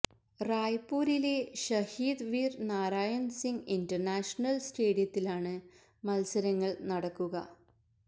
റായ്പൂരിലെ Shaheed Veer Narayan Singh international സ്റ്റേഡിയത്തിലാണ് മത്സരങ്ങൾ നടക്കുക